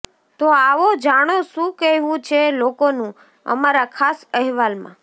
તો આવો જાણો શું કહેવું છે લોકોનું અમારા ખાસ અહેવાલમાં